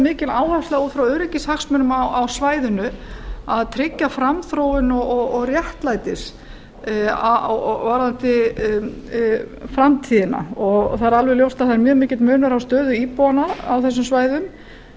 mikil áhersla út frá öryggishagsmunum á svæðinu að tryggja framþróun og réttlæti varðandi framtíðina það er alveg ljóst að það er mjög mikill munur á stöðu íbúanna á þessum svæðum og